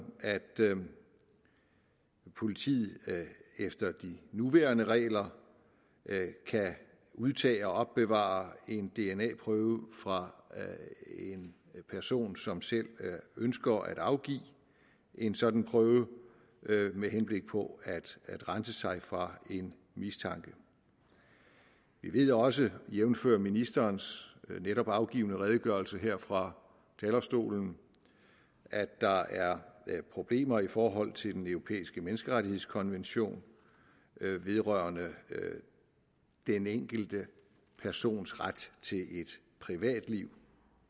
at politiet efter de nuværende regler kan udtage og opbevare en dna prøve fra en person som selv ønsker at afgive en sådan prøve med henblik på at rense sig fra en mistanke vi ved også jævnfør ministerens netop afgivne redegørelse her fra talerstolen at der er problemer i forhold til den europæiske menneskerettighedskonvention vedrørende den enkelte persons ret til privatliv